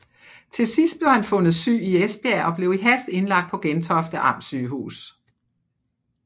Til sidst blev han fundet syg i Esbjerg og blev i hast indlagt på Gentofte Amtssygehus